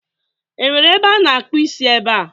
Enwere ebe a na-akpụ isi ebe a?